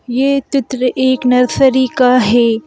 यह तित्र एक नरसरी का है।